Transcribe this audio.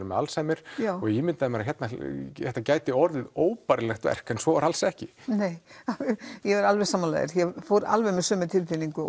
með Alzheimer og ég ímyndaði mér að þetta gæti orðið óbærilegt verk en svo var alls ekki nei ég er alveg sammála þér ég fór með alveg sömu tilfinningu